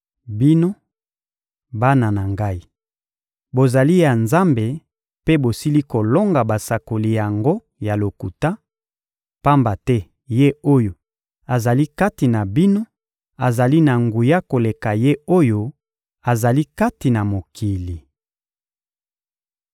Bino, bana na ngai, bozali ya Nzambe mpe bosili kolonga basakoli yango ya lokuta, pamba te Ye oyo azali kati na bino azali na nguya koleka ye oyo azali kati na mokili.